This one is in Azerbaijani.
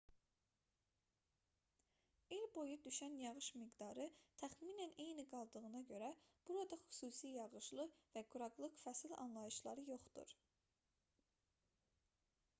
i̇l boyu düşən yağış miqdarı təxminən eyni qaldığına görə burada xüsusi yağışlı və quraqlıq fəsil anlayışları yoxdur